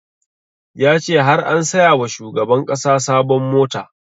Ya ce har an saya wa shugaban ƙasa sabon mota